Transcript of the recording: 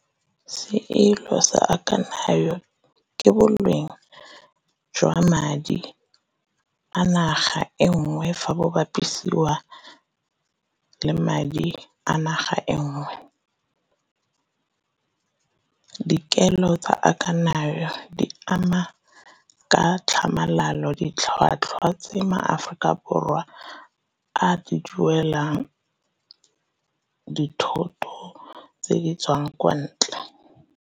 Seelo sa ke boleng jwa madi a naga engwe fa bo bapisiwa le madi a naga engwe. Dikelo tsa di ama ka tlhamalalo ditlhwatlhwa tse maAforika Borwa a di duelang, dithoto tse di tswang kwa ntle.